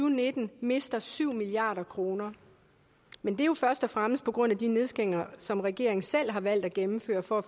og nitten mister syv milliard kroner men det er jo først og fremmest på grund af de nedskæringer som regeringen selv har valgt at gennemføre for at